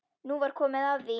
Nú var komið að því.